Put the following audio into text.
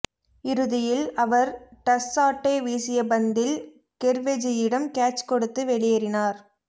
இறுதியில் அவர் டஸ்சாட்டே வீசிய பந்தில் கெர்வெஜீயிடம் கேட்ச் கொடுத்து வெளி யேறினார்